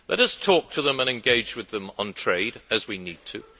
Let us talk to them and engage with them on trade, as we need to.